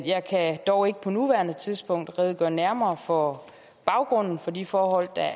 jeg kan dog ikke på nuværende tidspunkt redegøre nærmere for baggrunden for de forhold der er